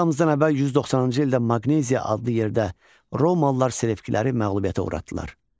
Eramızdan əvvəl 190-cı ildə Maqneziya adlı yerdə romalılar Selevkiləri məğlubiyyətə uğratdılar.